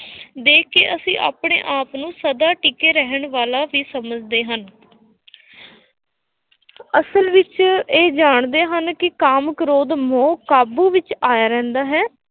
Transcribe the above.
ਦੇਖ ਕੇ ਅਸੀਂ ਆਪਣੇ ਆਪ ਨੂੰ ਸਦਾ ਟਿਕੇ ਰਹਿਣ ਵਾਲਾ ਹੀ ਸਮਝਦੇ ਹਨ ਅਸਲ ਵਿੱਚ ਇਹ ਜਾਣਦੇ ਹਨ ਕਿ ਕਾਮ, ਕ੍ਰੋਧ, ਮੋਹ ਕਾਬੂ ਵਿੱਚ ਆਇਆ ਰਹਿੰਦਾ ਹੈ।